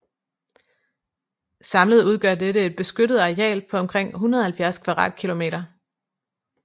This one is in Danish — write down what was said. Samlet udgør dette et beskyttet areal på omkring 170 km²